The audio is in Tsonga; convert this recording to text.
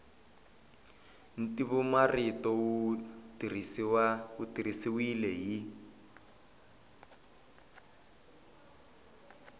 ntivomarito wu tirhisiwile hi